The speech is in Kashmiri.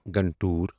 گنٹور